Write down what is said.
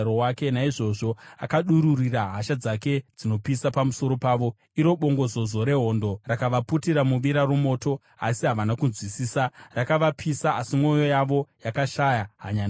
Naizvozvo akadururira hasha dzake dzinopisa pamusoro pavo, iro bongozozo rehondo. Rakavaputira muvira romoto, asi havana kunzwisisa; rakavapisa, asi mwoyo yavo yakashaya hanya nazvo.